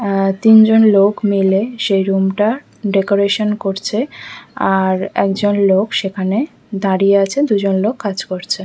আমি তিনজন লোক মিলে সেই রুম -টার ডেকোরেশন করছে আর একজন লোক সেখানে দাঁড়িয়ে আছে দুজন লোক কাজ করছে।